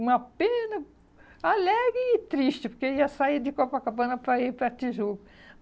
Uma pena alegre e triste, porque eu ia sair de Copacabana para ir para Tijuca.